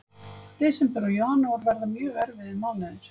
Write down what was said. Desember og janúar verða mjög erfiðir mánuðir.